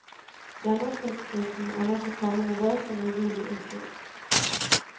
Gjennomsnittsprisen er nå på samme nivå som i juli i fjor.